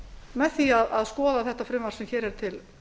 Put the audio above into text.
með því að skoða frumvarpið sem hér er til